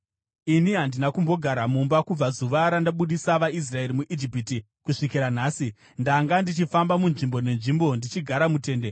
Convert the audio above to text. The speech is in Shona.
Ini handina kumbogara mumba kubva zuva randabudisa vaIsraeri muIjipiti kusvikira nhasi. Ndanga ndichifamba munzvimbo nenzvimbo ndichigara mutende.